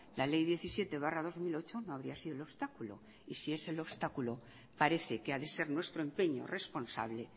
la ley diecisiete barra dos mil ocho no habría sido el obstáculo y si es el obstáculo parece que ha de ser nuestro empeño responsable